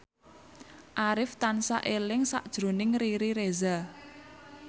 Arif tansah eling sakjroning Riri Reza